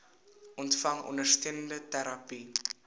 ontvang ondersteunende terapie